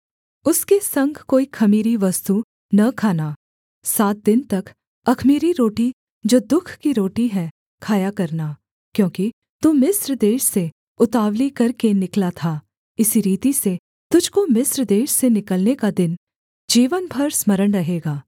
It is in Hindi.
उसके संग कोई ख़मीरी वस्तु न खाना सात दिन तक अख़मीरी रोटी जो दुःख की रोटी है खाया करना क्योंकि तू मिस्र देश से उतावली करके निकला था इसी रीति से तुझको मिस्र देश से निकलने का दिन जीवन भर स्मरण रहेगा